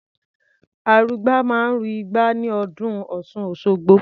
Arugbá máa ń ru igbá ní ọdún Ọ̀ṣun-Òṣogbo.